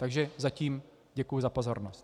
Takže zatím děkuji za pozornost.